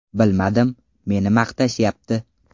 Bilmadim, meni maqtashyapti.